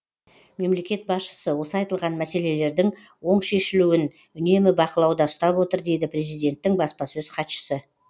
мемлекет басшысы осы айтылған мәселелердің оң шешілуін үнемі бақылауда ұстап отыр дейді президенттің баспасөз хатшысы